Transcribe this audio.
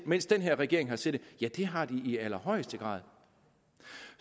mens den her regering har siddet ja det har det i allerhøjeste grad